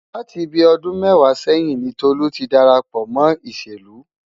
Láti bíi ọdún mẹ́wàá sẹ́yìn ni Tolú ti darapọ̀ mọ́ ìṣèlú.